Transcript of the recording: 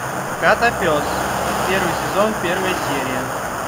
котопес первый сезон первая серия